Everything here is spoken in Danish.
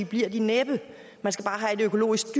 bliver de næppe man skal bare have et økologisk